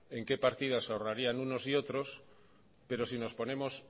en qué partidas ahorrarían unos y otros pero si nos ponemos